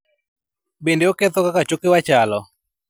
Bende, oketho kaka chokewa chalo.